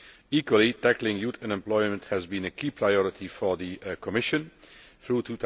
Equally, tackling youth unemployment has been a key priority for the Commission throughout